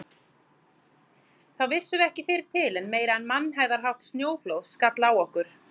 Þá vissum við ekki fyrr til en meira en mannhæðarhátt snjóflóð skall á okkur.